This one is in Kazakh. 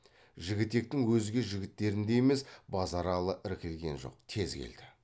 жігітектің өзге жігіттеріндей емес базаралы іркілген жоқ тез келді